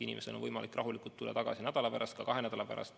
Inimestel on võimalik rahulikult üritada nädala pärast, ka kahe nädala pärast.